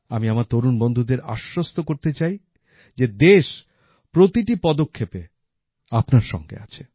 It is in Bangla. আমি আমার তরুণ বন্ধুদের আশ্বস্ত করতে চাই যে দেশ প্রতিটি পদক্ষেপে আপনার সঙ্গে আছে